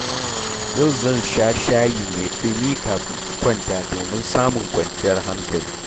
Yau zan sha shayi mai ɗumi kafin in kwanta domin samun kwanciyar hankali.